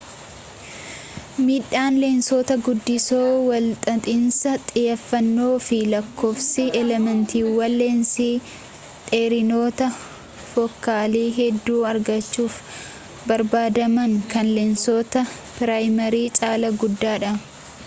miidhaan leensota guddisoo walxaxiinsa xiyyeefannoo fi lakkoofsi elementiiwwan leensii dheerinoota fookaalii hedduu argachuuf barbaadamuu kan leensoota piraayimii caalaa guddaadha